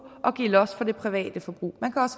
og give los for det private forbrug